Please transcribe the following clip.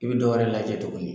I be dɔwɛrɛ lajɛ tuguni